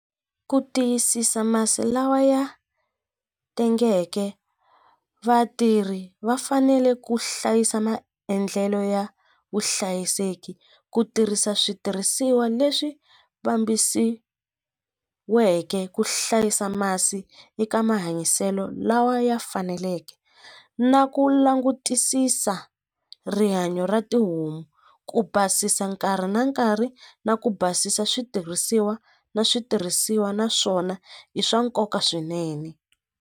Ku tiyisisa masi lawa ya tengeke vatirhi va fanele ku hlayisa maendlelo ya vuhlayiseki ku tirhisa switirhisiwa leswi ku hlayisa masi eka mahanyiselo lawa ya faneleke na ku langutisisa rihanyo ra tihomu ku basisa nkarhi na nkarhi na ku basisa switirhisiwa na switirhisiwa naswona i swa nkoka swinene.